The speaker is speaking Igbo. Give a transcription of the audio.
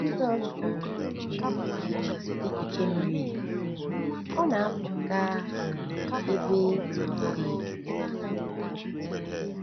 Mgbe Jizọs chọrọ iche echiche miri emi, ọ na-apụ gaa um ebe um dị jụụ.